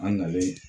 An nalen